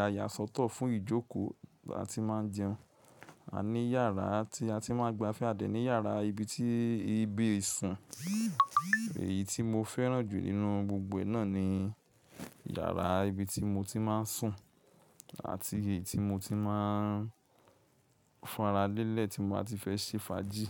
a yà sọ́tọ̀ fún ìjókòó. Láti máa jẹun, a ní yàrá tí a ti máa ń gbafẹ́, a dẹ̀ ní yàrá ibi tí, ibi ìsùn. Èyí tí mo fẹ́ràn jù nínú gbogbo náà ni yàrá ibi tí mo ti máa ń sùn àti èyí tí mo ti máa ń fúnra lélẹ̀ tí mo bá ti fẹ́ ṣe fàájì.